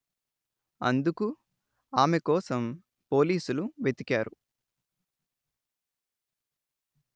అందుకు ఆమె కోసం పోలీసులు వెతికారు